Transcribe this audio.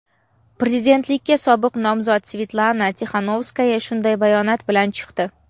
prezidentlikka sobiq nomzod Svetlana Tixanovskaya shunday bayonot bilan chiqdi.